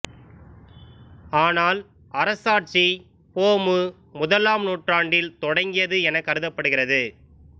ஆனால் அரசாட்சி பொ மு முதலாம் நூற்றாண்டிற்றான் தொடங்கியது எனக் கருதப்படுகிறது